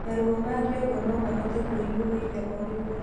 Maruo ma kĩongo nomahote kwĩyumĩrĩa o rĩmwe